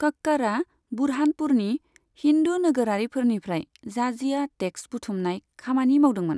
कक्कड़आ बुरहानपुरनि हिन्दू नोगोरारिफोरनिफ्राय जाजिया टेक्स बुथुमनाय खामानि मावदोंमोन।